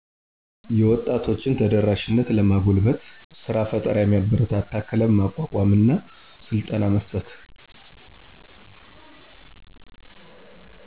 የወጣቶችን ተደራሸነትለማጎልበት ሰራ ፈጠራ የሚያበረታታ ክለቭ ማቋቋም እና ስልጠና መስጠት